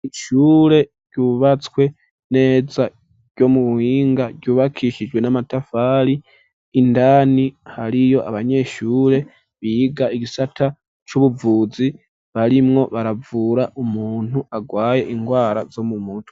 Ishure ryubatswe neza ryomu buhinga ryubakishijwe n'amatafari, indani hariyo abanyeshure biga igisata c'ubuvuzi, barimwo baravura umuntu agwaye ingwara zomu muntu.